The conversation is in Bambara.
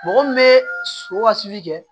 Mɔgɔ min bɛ so ka susuli kɛ